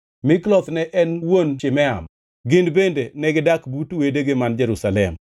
Mikloth ne en wuon Shimeam. Gin bende negidak but wedegi man Jerusalem.